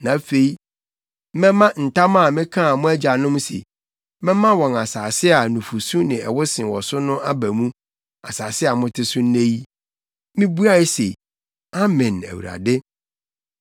Na afei mɛma ntam a mekaa mo agyanom se, mɛma wɔn asase a nufusu ne ɛwo sen wɔ so no aba mu,’ asase a mote so nnɛ yi.” Mibuae se, “Amen, Awurade.”